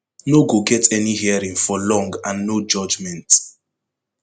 no go get any hearing for long and no judgement